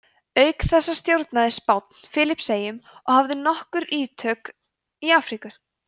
auk þessa stjórnaði spánn filippseyjum og hafði nokkur ítök í afríku